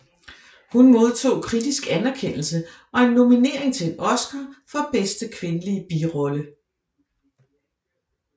Hun modtog kritisk anerkendelse og en nominering til en Oscar for bedste kvindelige birolle